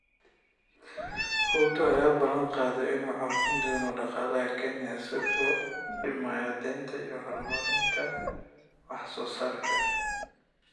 Ruto ayaa ballan qaaday in uu xoojin doono dhaqaalaha Kenya isaga oo dhimaya deynta iyo horumarinta wax soo saarka.